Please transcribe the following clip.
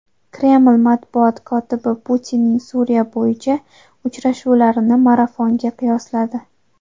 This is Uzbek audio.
Kreml matbuot kotibi Putinning Suriya bo‘yicha uchrashuvlarini marafonga qiyosladi.